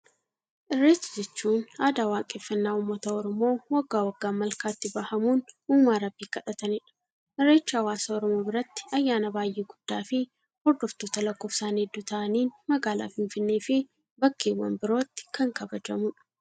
Irreecha jechuun aadaa waaqeffannaa uummata Oromoo waggaa waggaan malkaatti bahamuun uumaa rabbii kadhatanidha. Irreechi hawaasa Oromoo biratti ayyaana baayyee guddaa fi hordoftoota lakkoofsaan hedduu ta'aniin magaalaa finfinnee fi bakkeewwan birootti kan kabajamudha.